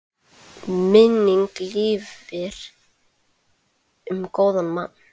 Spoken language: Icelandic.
Minning lifir um góðan mann.